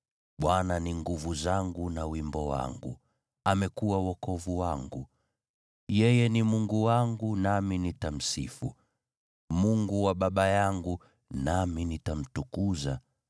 Bwana ni nguvu zangu na wimbo wangu; amekuwa wokovu wangu. Yeye ni Mungu wangu, nami nitamsifu, Mungu wa baba yangu, nami nitamtukuza.